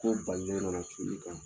Ko balile nana jun i kan